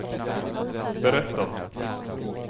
berättat